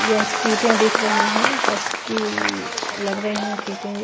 यह सीटें दिख रही हैं बस की लग रही हैं सीटें ये--